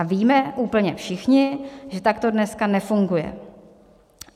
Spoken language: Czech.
A víme úplně všichni, že tak to dneska nefunguje.